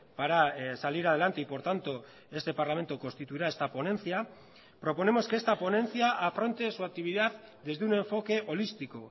para salir adelante y por tanto este parlamento constituirá esta ponencia proponemos que esta ponencia afronte su actividad desde un enfoque holístico